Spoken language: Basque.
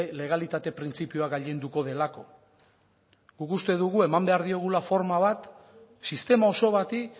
legalitate printzipioa gailenduko delako guk uste dugu eman behar diogula forma bat sistema oso bati